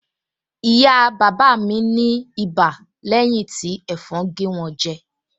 Ìyá bàbá mi ní ibà lẹ́yìn tí ẹ̀fọn gé wọn jẹ